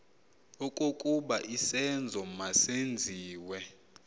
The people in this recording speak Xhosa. okokuba isenzo masenziwe